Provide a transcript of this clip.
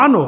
Ano!